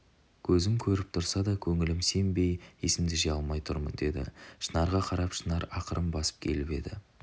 кезім көріп тұрса да көңілім сенбей есімді жия алмай тұрмын деді шынарға қарап шынар ақырын басып келіп екі